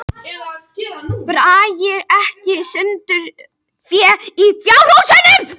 Dragi ekki sundur fé í fjárhúsum